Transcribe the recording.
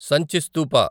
సంచి స్తూప